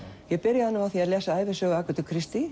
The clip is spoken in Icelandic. ég byrjaði á því að lesa ævisögu